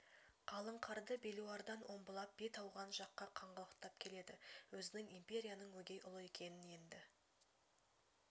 қалың қарды белуардан омбылап бет ауған жаққа қаңғалақтап келеді өзінің империяның өгей ұлы екенін енді